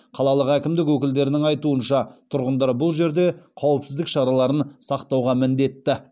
қалалық әкімдік өкілдерінің айтуынша тұрғындар бұл жерде қауіпсіздік шараларын сақтауға міндетті